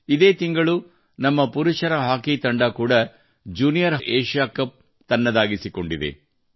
ಇದೇ ತಿಂಗಳು ನಮ್ಮ ಪುರುಷರ ಹಾಕಿ ತಂಡ ಕೂಡಾ ಜ್ಯೂನಿಯರ್ ಹಾಕಿ ಕಪ್ ತನ್ನದಾಗಿಸಿಕೊಂಡಿದೆ